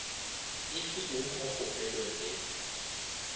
e filego mo kgopelong le